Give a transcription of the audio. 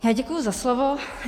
Já děkuji za slovo.